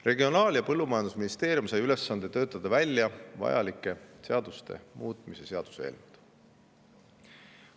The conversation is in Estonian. Regionaal‑ ja Põllumajandusministeerium sai ülesande töötada välja seaduste muutmise eelnõud.